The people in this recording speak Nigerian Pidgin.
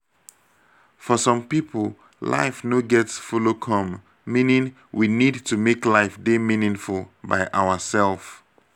for some pipo life no get follow come meaning we need to make life dey meaningful by ourself